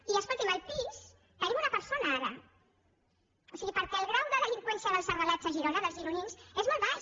i escolti’m al pis hi tenim una persona ara perquè el grau de delinqüència dels arrelats a girona dels gironins és molt baix